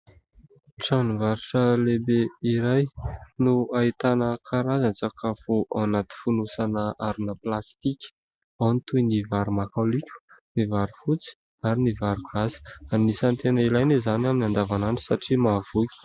Tranombarotra lehibe iray no ahitana karazan-tsakafo ao anaty fonosana harona plastika. Ao ny toy ny vary makalioka, ny vary fotsy ary ny vary gasy. Anisan'ny tena ilaina izany amin'ny andavanandro satria mahavoky.